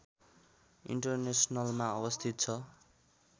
इन्टरनेसनलमा अवस्थित छ